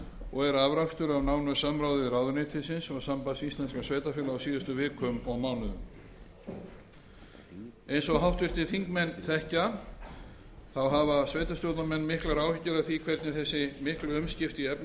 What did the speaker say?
og er afrakstur af nánu samráði ráðuneytisins og sambands íslenskra sveitarfélaga á síðustu vikum og mánuðum eins og háttvirtir þingmenn þekkja hafa sveitarstjórnarmenn miklar áhyggjur af því hvernig þessi miklu umskipti í efnahagsmálum